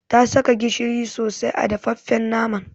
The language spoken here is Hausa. Ta saka gishiri sosai a dafaffen naman.